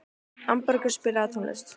Arnbergur, spilaðu tónlist.